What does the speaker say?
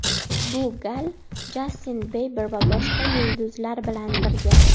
Bu gal Jastin Biber va boshqa yulduzlar bilan birga.